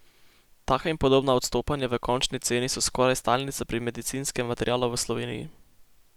Taka in podobna odstopanja v končni ceni so skoraj stalnica pri medicinskem materialu v Sloveniji.